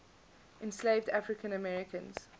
enslaved african americans